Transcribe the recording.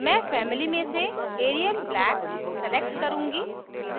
मैं family में से arial black select करुँगी